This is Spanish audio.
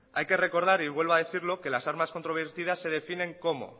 hay que recordar y vuelvo a decirlo que las armas controvertidas se definen como